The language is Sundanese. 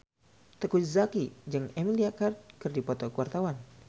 Teuku Zacky jeung Emilia Clarke keur dipoto ku wartawan